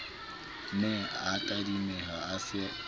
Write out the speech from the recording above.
ne a tadimeha a se